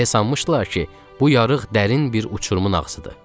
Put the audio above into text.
Elə sanmışdılar ki, bu yarıq dərin bir uçurumun ağzıdır.